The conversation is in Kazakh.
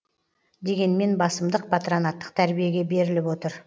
дегенмен басымдық патронаттық тәрбиеге беріліп отыр